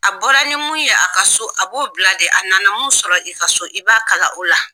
A bɔra ni min ye a ka so a b'o bila de a nana min sɔrɔ i ka so i b'a kalan o la